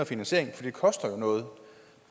finansiering for det koster jo noget